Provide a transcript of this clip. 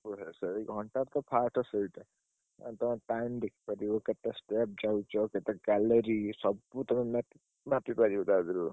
ସବୁ ଘଣ୍ଟାର ତ first ସେଇଟା। ଆଉ ତାର time ଦେଖିପାରିବ କେତେ ଚାଲୁଚି ଆଉ କେତେ gallery ସବୁ ତମେ ମାପିପାରିବ ତା ଧିଅରୁ।